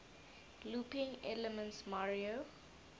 looping elements mario